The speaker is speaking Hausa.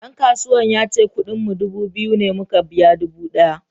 Dan kasuwan yace kudin mu dubu biyu ne muka biya dubu daya.